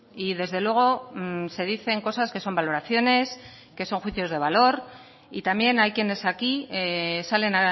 y desde luego se dicen cosas que son valoraciones que son juicios de valor y también hay quienes aquí salen